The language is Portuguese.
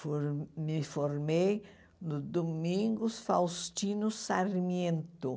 For me formei no Domingos Faustino Sarmiento.